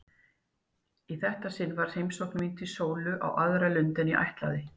Í þetta sinn var heimsókn mín til Sólu á aðra lund en ég ætlaði.